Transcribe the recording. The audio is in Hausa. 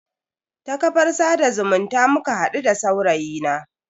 Ta kafar sada zumunta muka hadu da saurayi na.